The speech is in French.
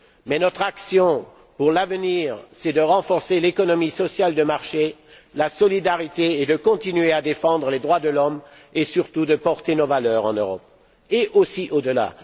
Mais notre rôle, demain, c'est de renforcer l'économie sociale de marché, la solidarité, de continuer à défendre les droits de l'homme et, surtout, de porter nos valeurs en Europe et, aussi, au delà.